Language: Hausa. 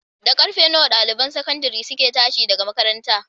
Da karfe ɗaliban sakandare suke tashi daga makaranta?